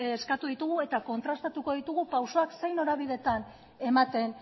eskatu ditugu eta kontrastatuko ditugu pausoak zein norabidetan ematen